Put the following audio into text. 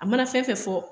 A mana fɛn fɛn fɔ